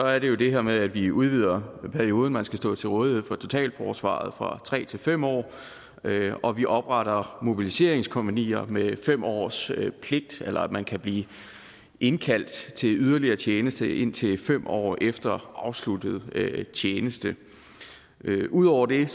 er det jo det her med at vi udvider perioden man skal stå til rådighed for totalforsvaret i fra tre til fem år og vi opretter mobiliseringskompagnier med fem års pligt eller man kan blive indkaldt til til yderligere tjeneste indtil fem år efter afsluttet tjeneste ud over det